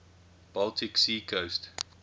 baltic sea coast